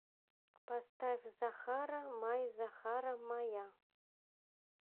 поставь захара май захара мая